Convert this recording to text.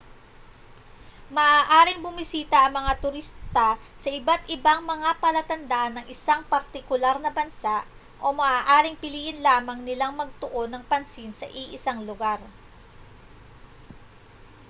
maaaring bumisita ang mga turista sa iba't-ibang mga palatandaan ng isang partikular na bansa o maaaring piliin lamang nilang magtuon ng pansin sa iisang lugar